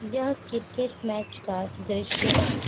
यह cricket match का दृश्य है।